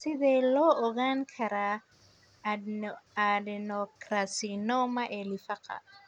Sidee loo ogaan karaa adenocarcinoma ee lifaaqa?